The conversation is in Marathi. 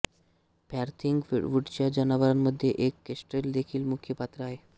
फॉरथिंग वूडच्या जनावरांमध्ये एक केस्ट्रेल देखील मुख्य पात्र आहे